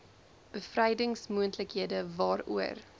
bevrydings moontlikhede waaroor